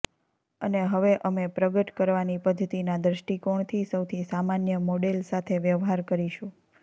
અને હવે અમે પ્રગટ કરવાની પદ્ધતિના દ્રષ્ટિકોણથી સૌથી સામાન્ય મોડેલ સાથે વ્યવહાર કરીશું